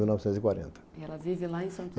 mil novecentos e quarenta. Ela vive lá em Santo